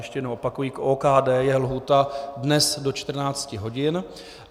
Ještě jednou opakuji, k OKD je lhůta dnes do 14 hodin.